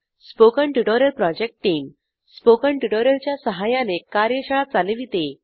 spoken tutorial project team spoken tutorial च्या सहाय्याने कार्यशाळा चालविते